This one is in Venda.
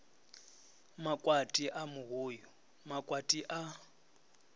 makwati a muvhuyu makwati a